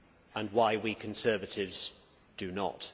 and why we Conservatives do not.